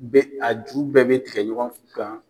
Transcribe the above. Bɛ a ju bɛɛ bɛ tigɛ ɲɔgɔn kan.